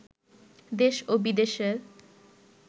দেশ ও বিদেশের